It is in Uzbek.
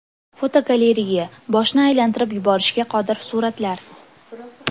Fotogalereya: Boshni aylantirib yuborishga qodir suratlar.